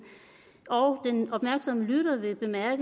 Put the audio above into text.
og den opmærksomme lytter vil